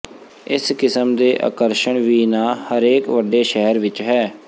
ਇਸ ਕਿਸਮ ਦੇ ਆਕਰਸ਼ਣ ਵੀ ਨਾ ਹਰੇਕ ਵੱਡੇ ਸ਼ਹਿਰ ਵਿਚ ਹੈ